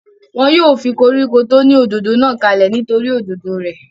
wọn yóò fi koríko tó ní òdòdó náà kalẹ̀ nítorí òdòdó rẹ̀